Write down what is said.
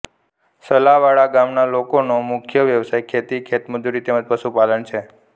સલાવાડા ગામના લોકોનો મુખ્ય વ્યવસાય ખેતી ખેતમજૂરી તેમ જ પશુપાલન છે